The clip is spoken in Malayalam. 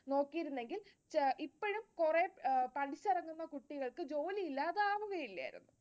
നോക്കിയിരുന്നെങ്കിൽ ഇപ്പഴും കുറെ പഠിച്ചിറങ്ങുന്ന കുട്ടികൾക്ക് ജോലിയില്ലാതെ ആവുകയില്ലായിരുന്നു.